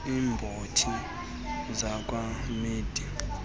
iibhotile zakwa mead